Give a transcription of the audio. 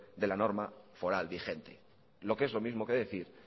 de la norma foral vigente lo que es lo mismo que decir